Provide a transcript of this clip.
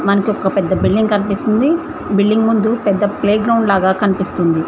మనకి ఒక్క పెద్ద బిల్డింగ్ కనిపిస్తుంది బిల్డింగ్ ముందు పెద్ద ప్లేగ్రౌండ్ లాగా కనిపిస్తుంది.